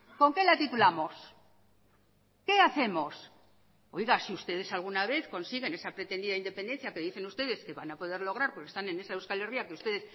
con qué la titulamos qué hacemos si ustedes alguna vez consiguen esa pretendida independencia que dicen ustedes van a poder lograr porque están en esa euskal herria que ustedes